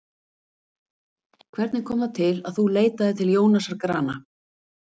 Hvernig kom það til að þú leitaðir til Jónasar Grana?